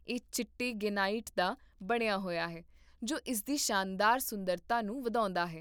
ਇਹ ਚਿੱਟੇ ਗ੍ਰੇਨਾਈਟ ਦਾ ਬਣਿਆ ਹੋਇਆ ਹੈ ਜੋ ਇਸਦੀ ਸ਼ਾਨਦਾਰ ਸੁੰਦਰਤਾ ਨੂੰ ਵਧਾਉਂਦਾ ਹੈ